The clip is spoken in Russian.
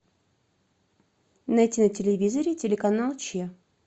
найти на телевизоре телеканал че